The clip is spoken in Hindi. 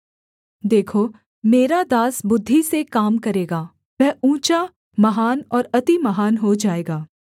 देखो मेरा दास बुद्धि से काम करेगा वह ऊँचा महान और अति महान हो जाएगा